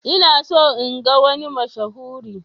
Ina so in ga wani mashahuri.